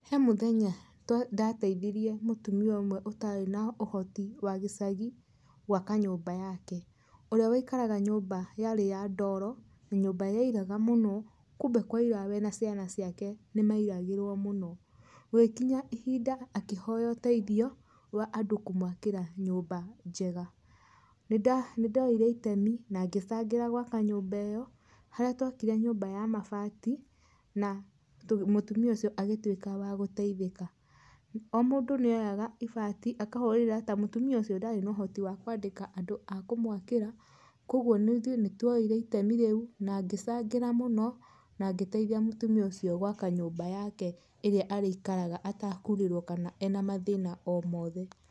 He mũthenya ndateithirie mũtumia ũmwe ũtarĩ na ũhoti wa gĩcagi gwaka nyũmba yake, ũrĩa waikaraga nyũmba yarĩ ya ndoro, nyũmba yaũraga mũno kumbe kwaũra we na ciana ciake nĩmaũragĩrwa mũno, gũgĩkinya ihinda akĩhoya ũteithio wa andũ kũmwakĩra nyũmba njega. Nĩndoire itemi nangĩcagĩra gwaka nyũmba ĩyo harĩa twakire nyũmba ya mabati na mũtumia ũcio agĩtũĩka wa gũteithĩka o mũndũ nĩoyaga ibati akahũrĩra ta mũtumia ũcio ndarĩ na ũhoti wa kwandĩka andũ a kũmwakĩra kwoguo ithũĩ nĩ twoire itemi rĩũ na ngĩcangĩra mũno na ngĩteithia mutumia ũcio gwaka nyũmba yake ĩrĩa arĩikaraga atakũrĩrwo kana ena mathĩna o mothe.